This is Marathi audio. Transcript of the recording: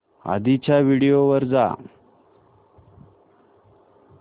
आधीच्या व्हिडिओ वर जा